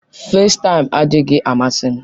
festaim adịghị amasị m.